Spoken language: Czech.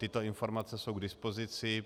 Tyto informace jsou k dispozici.